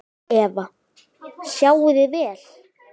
Eva: Sjáið þið vel?